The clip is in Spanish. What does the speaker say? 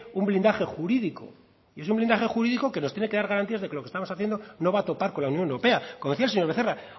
un blindaje jurídico y es un blindaje jurídico que nos tiene que dar garantías de que lo que estamos haciendo no va a topar con la unión europea como decía el señor becerra